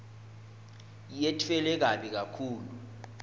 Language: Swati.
yetfulwe kabi kakhulu